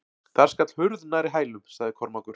Þar skall hurð nærri hælum, sagði Kormákur.